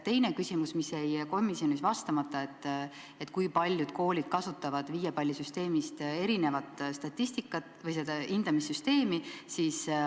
Teine küsimus, mis jäi komisjonis vastamata, oli see, kui paljud koolid kasutavad viiepallisüsteemist erinevat hindamissüsteemi.